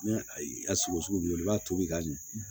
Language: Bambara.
Ni ayi a sogo sugu bɛ i b'a tobi ka ɲɛ